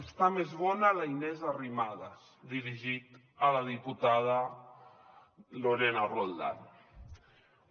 està més bona la inés arrimadas dirigit a la diputada lorena roldán